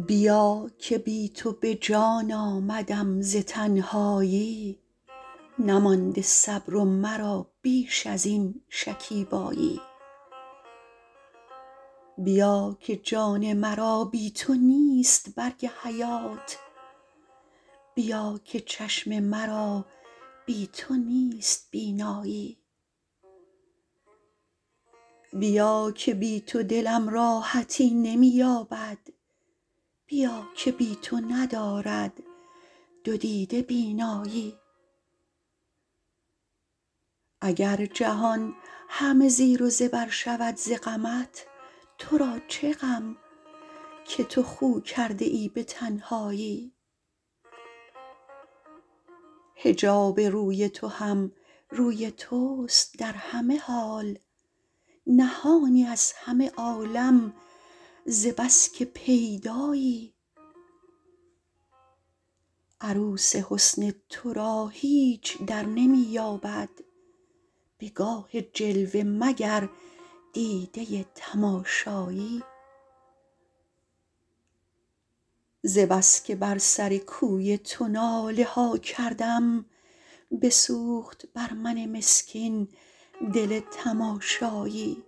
بیا که بی تو به جان آمدم ز تنهایی نمانده صبر و مرا بیش ازین شکیبایی بیا که جان مرا بی تو نیست برگ حیات بیا که چشم مرا بی تو نیست بینایی بیا که بی تو دلم راحتی نمی یابد بیا که بی تو ندارد دو دیده بینایی اگر جهان همه زیر و زبر شود ز غمت تو را چه غم که تو خو کرده ای به تنهایی حجاب روی تو هم روی توست در همه حال نهانی از همه عالم ز بسکه پیدایی عروس حسن تو را هیچ درنمی یابد به گاه جلوه مگر دیده تماشایی ز بس که بر سر کوی تو ناله ها کردم بسوخت بر من مسکین دل تماشایی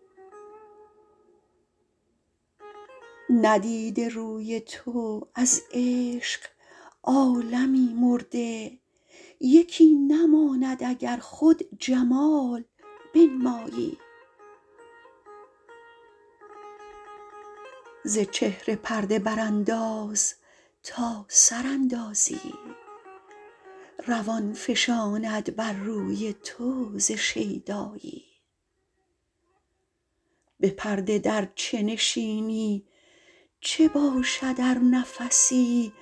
ندیده روی تو از عشق عالمی مرده یکی نماند اگر خود جمال بنمایی ز چهره پرده برانداز تا سر اندازی روان فشاند بر روی تو ز شیدایی به پرده در چه نشینی چه باشد ار نفسی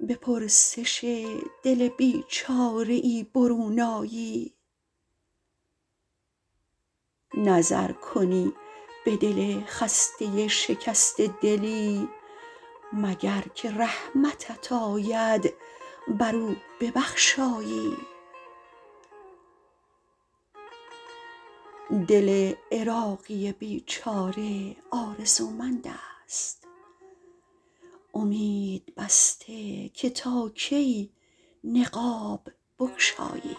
به پرسش دل بیچاره ای برون آیی نظر کنی به دل خسته شکسته دلی مگر که رحمتت آید بر او ببخشایی دل عراقی بیچاره آرزومند است امید بسته که تا کی نقاب بگشایی